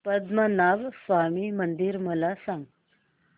पद्मनाभ स्वामी मंदिर मला सांग